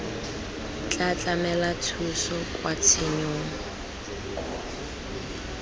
tla tlamela thuso kwa tshenyong